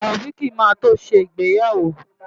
Taofiq máa tó ṣe ìgbéyàwó.